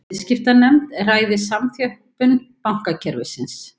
Viðskiptanefnd ræði samþjöppun bankakerfisins